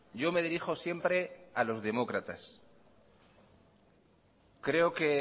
yo me dirijo siempre a los demócratas creo que